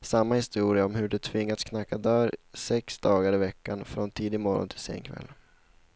samma historia om hur de tvingats knacka dörr sex dagar i veckan, från tidig morgon till sen kväll.